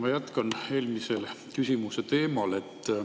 Ma jätkan eelmise küsimuse teemal.